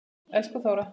Elsku Þóra.